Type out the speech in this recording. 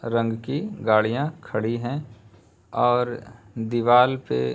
रंग की गाड़ियां खड़ी हैं और दीवाल पे --